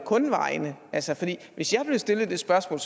kun vejene hvis jeg blev stillet det spørgsmål